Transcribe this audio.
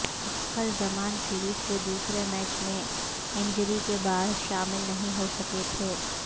فخر زمان سیریز کے دوسرے میچ میں انجری کے باعث شامل نہیں ہو سکے تھے